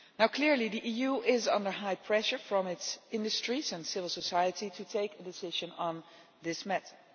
Clearly the EU is under high pressure from its industries and civil society to take a decision on this matter.